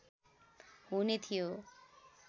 हुने थियो